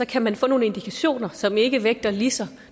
kan man få nogle indikationer som ikke vægtes lige så